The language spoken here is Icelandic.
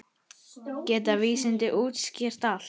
Geta vísindin útskýrt allt?